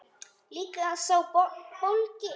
Líka sá bólgni.